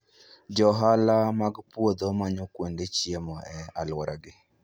Johala mag puodho manyo kuonde chiemo e alworagi.